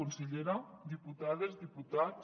consellera diputades diputats